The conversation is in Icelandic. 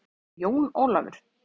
Jón Ólafur!